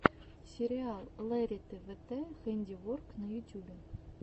сериал лериты вт хэндиворк на ютюбе